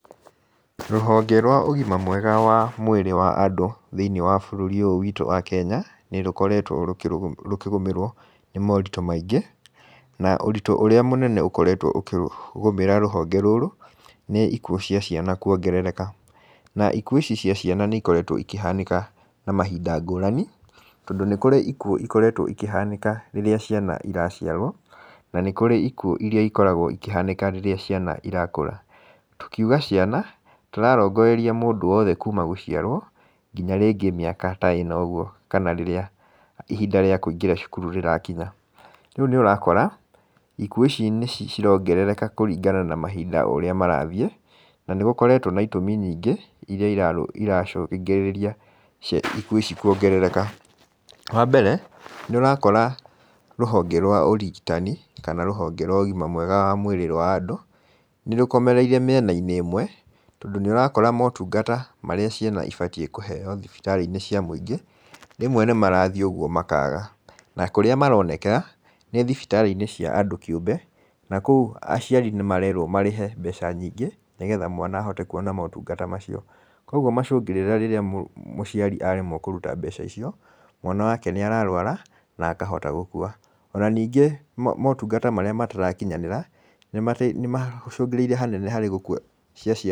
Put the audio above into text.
Rũhonge rwa ũgima mwega wa mwĩrĩ wa andũ thĩinĩ wa bũrũri ũyũ wĩtũ wa Kenya, nĩũkoretwe rũkĩgũmĩrwo nĩmorito maingĩ na ũritũ ũrĩa mũnene ũkoretwe rũkĩgũmĩra rũhonge rũrũ nĩ ikuo cia ciana kwongerereka, na ikuo ici cia ciana nĩikoretwe ikĩhanĩka na mahinda ngũrani tondũ nĩkũrĩ ikuo ikoretwe ikĩhanĩka rĩrĩa ciana iraciarwo na nĩkũrĩ ikuo ikĩhanĩka rĩrĩa ciana irakũra, tũkĩuga ciana tũrarongereria mũndũ wothe kuuma gũciarwo nginya rĩngĩ mĩaka ta ĩna ũguo kana rĩrĩa ihinda rĩa kũingĩra cukuru rĩrakinya, rĩu nĩũakora ikuo ici nĩcirongerereka kũrĩngana na mahinda ũrĩa marathiĩ na nĩgũkoretwe na itũmi nyingĩ irĩa iracungĩrĩria ikuo ici kwongereka, wambere nĩũrakora rũhonge rwa ũrigitani kana rũhonge rwa ũgima mwega wa mwĩrĩ wa andũ nĩrũkomerere mĩenainĩ ũmwe, tondũ nĩũrakora motungata marĩa ciana ibatiĩ kuheo thibitarĩinĩ cia mũingĩ rĩmwe nĩmarathii ũguo makaga na kũrĩa maronekera nĩthibitarĩinĩ cia andũ kĩũmbe na kuo aciari nĩmarerwo marĩhe mbeca nyingĩ nĩgetha mwana ahote kũona motungata macio, kwoguo macũngĩrĩra rĩrĩa mũciari aremwo kũruta mbeca icio mwana wake nĩararwara na akahota gukua, ona ningĩ motungata marĩa matarakinyanĩra nĩmacũngĩrĩire hanene .